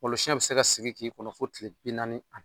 Ngolsiɛn bɛ se ka sigin k'i kɔnɔ fɔ tile bi naani ani